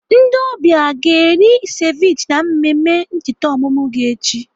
Ndị ọbịa a ga-eri seviche na mmemme ncheta ọmụmụ gị echi?